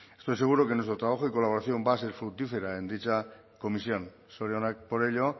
estoy seguro de que nuestro trabajo y colaboración va a ser fructífera en dicha comisión zorionak por ello